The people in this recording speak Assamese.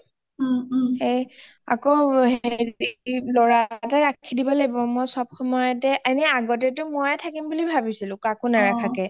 সেই লৰা এটা ৰাখি দিব লাগিব মই চব সময়তে মই আগতেটো মই থাকিম বুলি ভাবিচিলো কাকো নাৰাখোকে